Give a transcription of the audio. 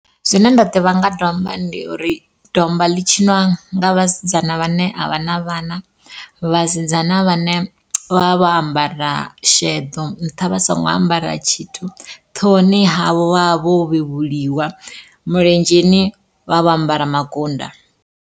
Zwine nda ḓivha nga domba ndi uri, domba ḽi tshiniwa nga vhasidzana vhane a vha na vhana vhasidzana vhane vha vha vho ambara sheḓo nṱha vha songo ambara tshithu ṱhohoni havho vha vha vho vhevhuliwa milenzheni vha vho ambara makunda.